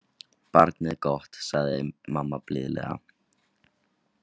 Barnið gott, sagði mamma blíðlega.